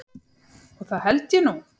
Og það held ég nú.